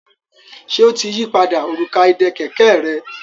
Ṣe o tí yí pàdà Òrùka ìdè kẹ̀kẹ́ rẹ?